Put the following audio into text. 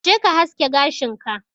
je ka haske gashin ka.